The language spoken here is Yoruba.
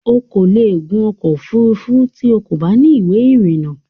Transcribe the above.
O kò lè gun ọkọ̀ òfurufú tí o kò bá ní ìwé ìrìnnà